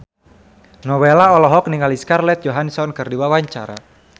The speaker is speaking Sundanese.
Nowela olohok ningali Scarlett Johansson keur diwawancara